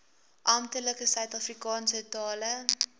amptelike suidafrikaanse tale